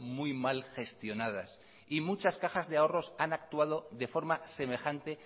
muy mal gestionadas y muchas cajas de ahorros han actuado de forma semejante